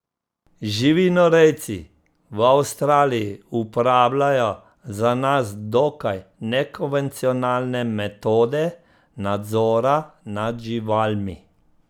Živinorejci v Avstraliji uporabljajo za nas dokaj nekonvencionalne metode nadzora nad živalmi.